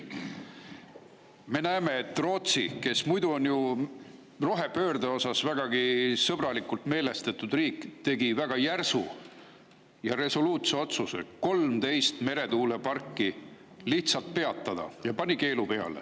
Me näeme, et Rootsi, kes muidu on ju rohepöörde osas vägagi sõbralikult meelestatud riik, tegi väga resoluutse otsuse 13 meretuulepargi lihtsalt peatada, pani keelu peale.